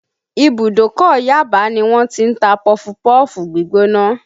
Ìbùdókọ̀ Yaba ni wọ́n ti ń ta pọfupọ́ọ̀fù gbígbóná